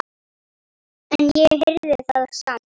En ég heyrði það samt.